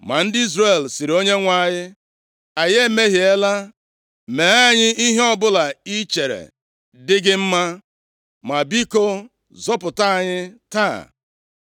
Ma ndị Izrel sịrị Onyenwe anyị, “Anyị emehiela. Mee anyị ihe ọbụla i chere dị gị mma, ma biko, zọpụta anyị taa.”